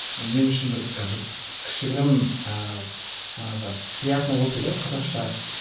мен үшін бір і бір кішігірім ііі жаңағы приятно болды дейді ғой қазақша